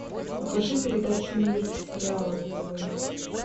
покажи передачу мир сериала на тв